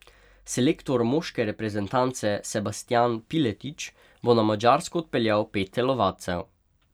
Selektor moške reprezentance Sebastijan Piletič bo na Madžarsko odpeljal pet telovadcev.